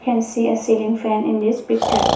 we can see a ceiling fan in this picture.